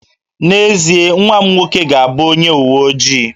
N'ezie, nwa m nwoke ga-abụ onye uwe ojii